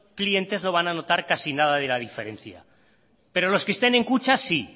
clientes no van a notar casi nada de la diferencia pero los que estén en kutxa sí